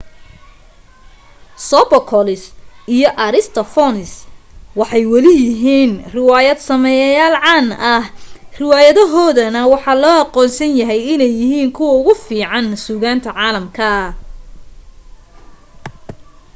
sophocles iyo aristophanes waxay weli yihiin riwaayad sameeyayaal caan ah riwaayadahoodana waxa loo aqoonsan yahay inay yihiin kuwa ugu fiican sugaanta caalamka